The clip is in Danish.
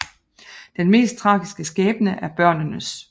Den mest tragiske skæbne er børnenes